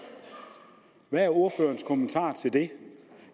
hvad er ordførerens kommentar til det